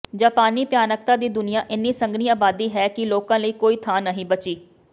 ਜਾਪਾਨੀ ਭਿਆਨਕਤਾ ਦੀ ਦੁਨੀਆਂ ਇੰਨੀ ਸੰਘਣੀ ਆਬਾਦੀ ਹੈ ਕਿ ਲੋਕਾਂ ਲਈ ਕੋਈ ਥਾਂ ਨਹੀਂ ਬਚੀ